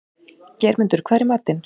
Geirmundur, hvað er í matinn?